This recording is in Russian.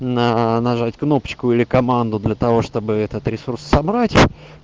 на нажать кнопочку или команду для того чтобы этот ресурс собрать